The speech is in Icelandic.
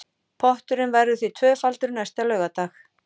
Potturinn verður því tvöfaldur næsta laugardag